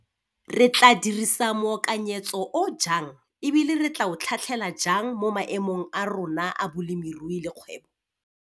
Re tla dirisa moakanyetso o jang e bile re tla o tlhatlhela jang mo maemong a rona a bolemirui le kgwebo?